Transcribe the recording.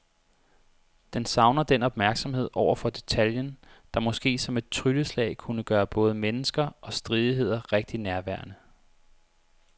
Den savner den opmærksomhed over for detaljen, der måske som et trylleslag kunne gøre både mennesker og stridigheder rigtig nærværende.